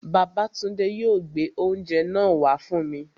Babátúndé yóò gbé oúnjẹ náà wá fún mi